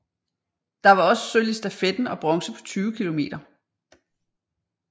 Der var også sølv i stafetten og bronze på 20 km